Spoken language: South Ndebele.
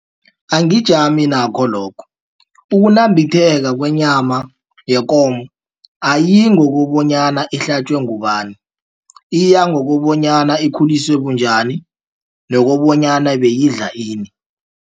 Angijame nakho lokho ukunambitheka kwenyama yekomo ayiyi ngokobonyana ihlatjwe ngubani iya ngokobanyana ikhuliswe bunjani nokobonyana beyidla ini.